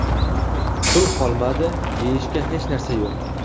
Pul qolmadi, yeyishga hech narsa yo‘q.